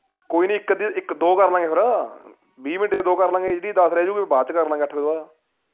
ਕੋਈ ਨੀ ਇਕ ਅੱਧੀ ਇਕ ਦੋ ਕਰ ਲਾਂਗੇ ਫੇਰ ਵੀਹ minute ਚ ਦੋ ਕਰ ਲਾਂਗੇ ਜਿਹੜੀ ਦਸ ਰਹਿ ਜਾਉਗੀ ਉਹ ਫੇਰ ਬਾਅਦ ਚ ਕਰ ਲਾਂਗੇ ਦੱਸ ਵਜੇ ਤੋਂ ਬਾਅਦ